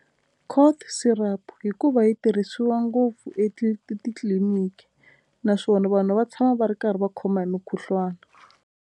Cold syrup hikuva yi tirhisiwa ngopfu titliliniki naswona vanhu va tshama va ri karhi va khoma hi mukhuhlwana.